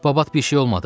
Babat bir şey olmadı?